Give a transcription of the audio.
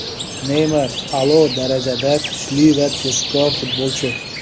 Neymar a’lo darajadagi kuchli va tezkor futbolchi.